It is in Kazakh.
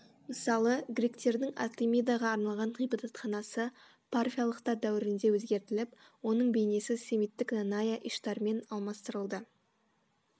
мысалы гректердің артемидаға арналған ғибадатханасы парфиялықтар дәуірінде өзгертіліп оның бейнесі семиттік нанайя иштармен алмастырылды